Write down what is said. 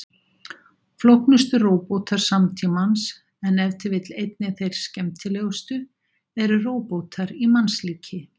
Flóknustu róbótar samtímans, en ef til vill einnig þeir skemmtilegustu, eru róbótar í mannslíki.